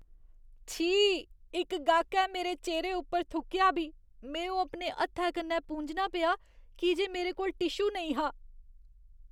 छी, इक गाह्‌कै मेरे चेह्‌रे उप्पर थुक्केआ बी। में ओह् अपने हत्थै कन्नै पूंझना पेआ की जे मेरे कोल टिशू नेईं हा।